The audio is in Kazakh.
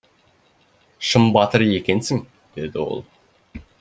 шын батыр екенсің деді ол